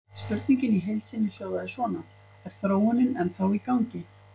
Spurningin í heild sinni hljóðaði svona: Er þróunin ennþá í gangi?